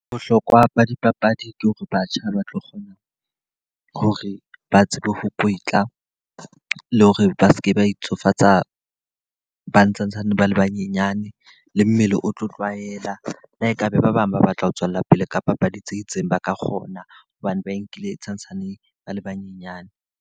Bohlokwa ba dipapadi ke hore batjha ba tlo kgona hore ba tsebe ho kwetla, le hore ba seke ba itsofatsa ba santsane bae banyenyana. Le mmele o tlo tlwaela, la e ka ba ba bang ba batla ho tswella pele ka papadi tse itseng, ba ka kgona hobane ba nkile santsaneng ba le banyenyane.